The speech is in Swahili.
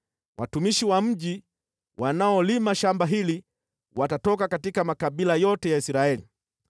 Watumishi wa mji wanaolima shamba hili watatoka katika makabila yote ya Israeli.